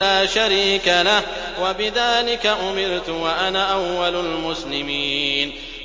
لَا شَرِيكَ لَهُ ۖ وَبِذَٰلِكَ أُمِرْتُ وَأَنَا أَوَّلُ الْمُسْلِمِينَ